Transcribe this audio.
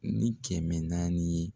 Ni kɛmɛ naani ye.